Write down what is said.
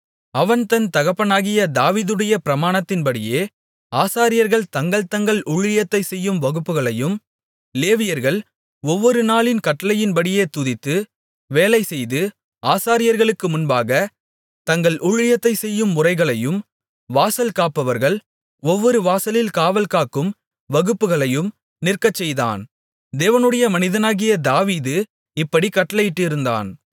அவன் தன் தகப்பனாகிய தாவீதுடைய பிரமாணத்தின்படியே ஆசாரியர்கள் தங்கள் தங்கள் ஊழியத்தைச் செய்யும் வகுப்புகளையும் லேவியர்கள் ஒவ்வொரு நாளின் கட்டளையின்படியே துதித்து வேலை செய்து ஆசாரியர்களுக்கு முன்பாகத் தங்கள் ஊழியத்தைச் செய்யும் முறைகளையும் வாசல் காப்பவர்கள் ஒவ்வொரு வாசலில் காவல்காக்கும் வகுப்புகளையும் நிற்க செய்தான் தேவனுடைய மனிதனாகிய தாவீது இப்படிக் கட்டளையிட்டிருந்தான்